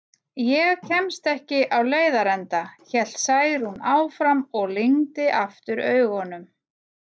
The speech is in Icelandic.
Ég kemst ekki á leiðarenda, hélt Særún áfram og lygndi aftur augunum.